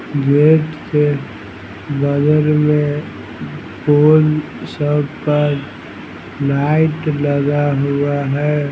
Gate के बगल में पोल सब पर लाइट लगा हुआ है।